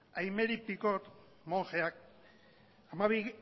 aimery picaud monjeak